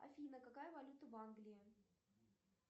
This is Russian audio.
афина какая валюта в англии